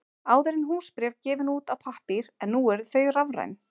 Áður voru húsbréf gefin út á pappír en nú eru þau rafræn.